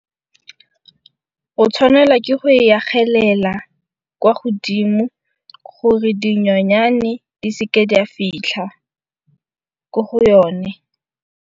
O tshwanela ke go e agelela kwa godimo gore dinyonyane di seke di a fitlha ko go yone.